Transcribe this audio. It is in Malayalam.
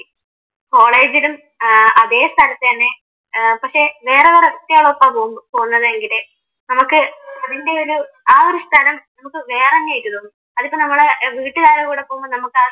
കോളേജിലും ഏർ അതെ സ്ഥലത്തു തന്നെ ഏർ പക്ഷെ വേറെ വേറെ പോന്നതെങ്കിൽ നമുക്ക് അതിൻറെയൊരു ആ ഒരു സ്ഥലം വേറെന്നെയായിട്ട് തോന്നും അതിപ്പോ നമ്മള് വീട്ടുകാരുടെ കൂടെ പോവുമ്പോ നമക്കാ